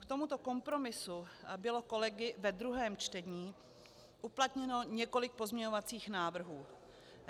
K tomuto kompromisu bylo kolegy ve druhém čtení uplatněno několik pozměňovacích návrhů.